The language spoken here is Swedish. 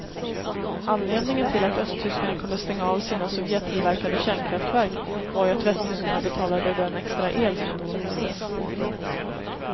Anledningen till att östtyskarna kunde stänga av sina sovjettillverkade kärnkraftverk var ju att västtyskarna betalade den extra el som då behövdes.